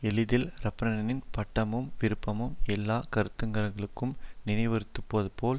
எளிதில் ரஃப்ரனின் பதட்டமும் விருப்பமும் எல்லா கருத்துரையாளர்களும் நினைவுறுத்தியதுபோல்